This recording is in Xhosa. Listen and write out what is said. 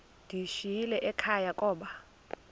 ndiyishiyile ekhaya koba